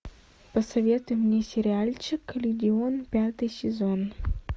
посоветуй мне сериальчик легион пятый сезон